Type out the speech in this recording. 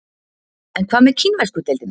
En hvað með kínversku deildina?